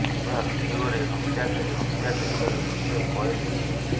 ପୁରା ଭିଡିଓରେ ହତ୍ୟାକାରୀ ହତ୍ୟା କରିବାର ଦୃଶ୍ୟ କଏଦ ହୋଇଛି